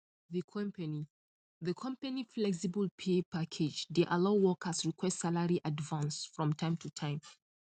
the company the company flexible pay package dey allow workers request salary advance from time to time